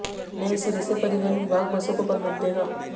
नए सिरे से परिवहन विभाग बसों को परमिट देगा